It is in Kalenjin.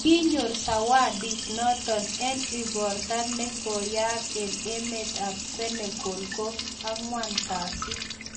Kinyoor Zawadit noto eng' igorta ne koyaak eng' emet ab Senegal ko ang'wan kasi